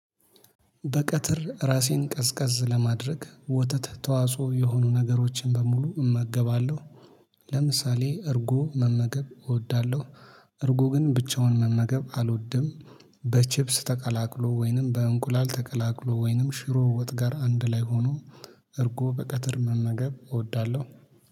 በቀትር ራሴን ቀዝቀዝ ለማድረግ ወተት ተዋጽኦ የሆኑ ነገሮችን በሙሉ እመገባለሁ። ለምሳሌ እርጎ መመገብ እወዳለሁ። እርጎ ግን ብቻውን መመገብ አልወድም። በቺፕስ ተቀላቅሎ ወይንም በእንቁላል ተቀላቅሎ ወይንም ሽሮ ወጥ ጋር አንድ ላይ ሆኖ። እርጎ በቀትር መመገብ እወዳለሁ